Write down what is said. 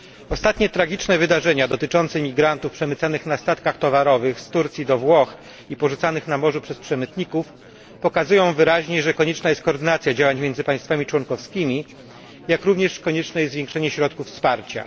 Ostatnie tragiczne wydarzenia dotyczące imigrantów przemycanych na statkach towarowych z Turcji do Włoch i porzucanych na morzu przez przemytników pokazują wyraźnie, że konieczna jest koordynacja działań między państwami członkowskimi, jak również konieczne jest zwiększenie środków wsparcia.